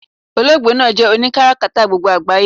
Oloogbe naa jé̩ oni karakata gbogbo àgbáyé